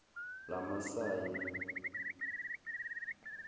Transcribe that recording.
lamamasayi